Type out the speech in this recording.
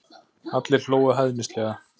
Allir hlógu hæðnislega.